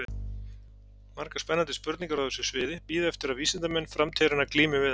Margar spennandi spurningar á þessu sviði bíða eftir að vísindamenn framtíðarinnar glími við þær.